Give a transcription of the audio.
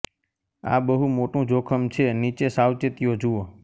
આ બહુ મોટું જોખમ છે નીચે સાવચેતીઓ જુઓ